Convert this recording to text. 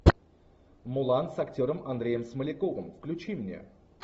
мулан с актером андреем смоляковым включи мне